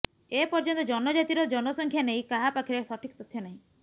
ଏ ପର୍ଯ୍ୟନ୍ତ ଜନଜାତିର ଜନସଂଖ୍ୟା ନେଇ କାହା ପାଖରେ ସଠିକ ତଥ୍ୟ ନାହିଁ